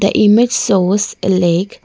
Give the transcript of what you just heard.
a image shows a lake.